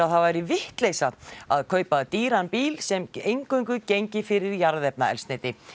það væri vitleysa að kaupa dýran bíl sem eingöngu gengi fyrir jarðefnaeldsneyti